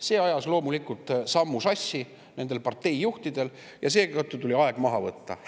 See ajas loomulikult sammu nendel parteijuhtidel sassi ja seetõttu tuli aeg maha võtta.